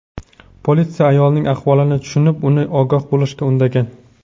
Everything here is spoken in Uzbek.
Politsiya ayolning ahvolini tushunib, uni ogoh bo‘lishga undagan.